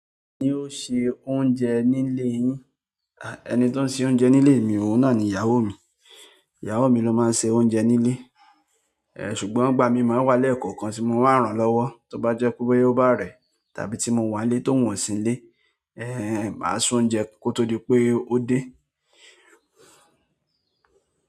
Ẹni tó ń sẹ oúnjẹ nílé yín? Ẹni tó ń se oúnjẹ nílé mi, òun náà ni ìyàwó mi. Ìyàwó mi ló máa ń se oúnjẹ nílé. Eh, ṣùgbọ́n ìgbà mi máa ń wà lẹ́ẹ̀kọ̀kan tí mo máa ń ràn lọ́wọ́, tó bá jẹ́ pé bóyá ó bá rẹ́, tàbí tí mo wà nílé ti ohun wà sí nilé, eh, màá ṣe oúnjẹ kó tó di pé ó dé.